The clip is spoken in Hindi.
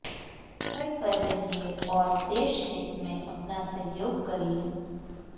घर पर रहिए और देश हित में अपना सहयोग करिए